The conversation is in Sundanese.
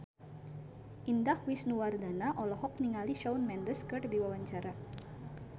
Indah Wisnuwardana olohok ningali Shawn Mendes keur diwawancara